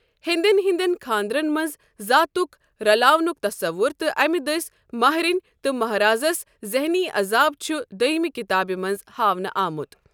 ہیندین ہندین خاندرن منز زاتُکھ رلاونُک تصوُر تہٕ امہِ دٔسۍ ماہرینہِ تہٕ مہارازس زحنی اذاب چھ دوٚیمہِ کِتابہِ منز ہاونہٕ آمت۔